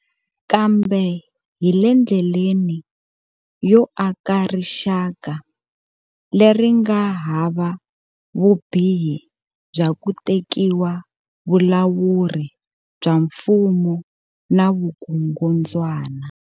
Kambe hi le ndleleni yo aka rixaka leri nga hava vubihi bya ku te kiwa vulawuri bya mfumo na vukungundzwana.